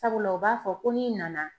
Sabula u b'a fɔ ko n'i nana.